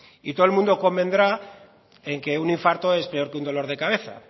y todo el mundo convendrá en que un infarto es peor que un dolor de cabeza